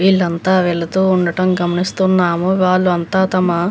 వీళ్లంతా వెళుతూ ఉండటం గమనిస్తున్నాము వాళ్ళు అంతా తమ --